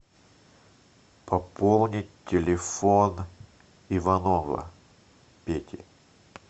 пополнить телефон иванова пети